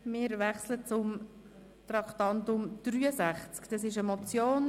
Wir wechseln zum Traktandum 63.